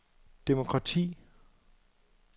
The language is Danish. demokrati